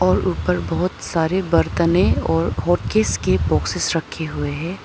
और ऊपर बहोत सारे बरतनें और होकिस के बॉक्सेस रखे हुए हैं।